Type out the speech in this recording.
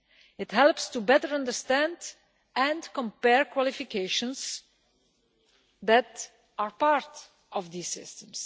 It helps to better understand and compare qualifications that are part of these systems.